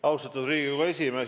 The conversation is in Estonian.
Austatud Riigikogu esimees!